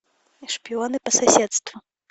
шпионы по соседству